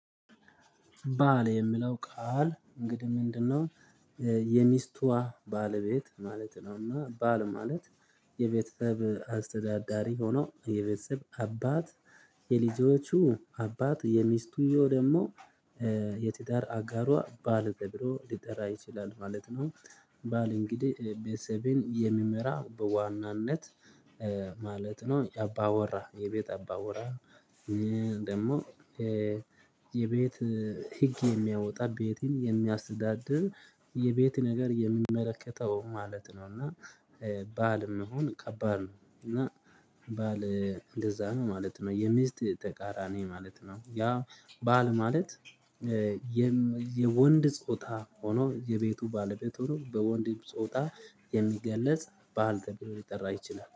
ባል የምለው ቃል እንግዲህ ምንድነው? የሚስቷ ባለቤት ማለት ነውና ባል ማለት የቤተሰብ አስተዳዳሪ ሆኖ የቤተሰብ አባት የልጆቹ አባት የሚስቱ ደግሞ የትዳር አጋሯ ባል ተብሎ ሊጠራ ይችላል ማለት ነው። ባል እንግዲህ ቤተሰብን የሚመራ በዋናነት ማለት ነው የአባወራ የቤት አባወራ። ደግሞ የቤት ህግ የሚያወጣ ቤትን የሚያስዳድር የቤት ነገር የሚመለከተው ማለት ነው። እና ባል መሆን ከባድ ነው። እና ባል እንደዚያ ነው ማለት ነው የሚስት ተቃራኒ ማለት ነው። ያ ባል ማለት የወንድ ጾታ ሆኖ የቤቱ ባለቤት ሆኖ በወንድ ጾታ የሚገለጽ ባል ተብሎ ሊጠራ ይችላል